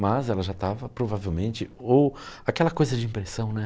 Mas ela já estava provavelmente... Ou aquela coisa de impressão, né?